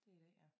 Det i dag ja